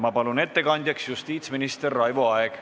Palun, ettekandja justiitsminister Raivo Aeg!